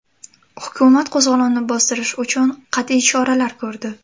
Hukumat qo‘zg‘olonni bostirish uchun qat’iy choralar ko‘rdi.